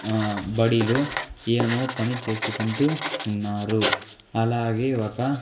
ఆ బడిలో ఏమో పని చేసుకుంటూ ఉన్నారు అలాగే ఒక.